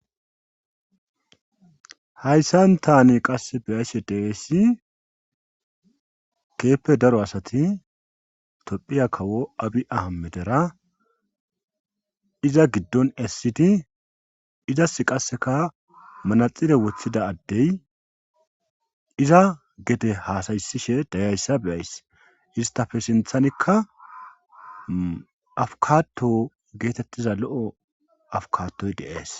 hayssan tani qass beyaysse deeesi keeppe daro asati tophiya kawo abhi aha medera iza giddon essidi izas qasseka manaxire woththida addey iza gede haasayssishe dayayssa beyays istafe sinthanikka afukato geetettiza lo7o afukatoy deees